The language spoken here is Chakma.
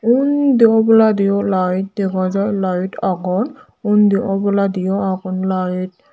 undi oboladio light dega jai light agon undi oboladio agon light.